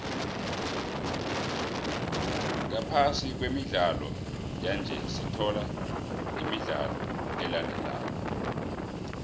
ngaphasi kwemidlalo yanje sithola imidlalo elandelako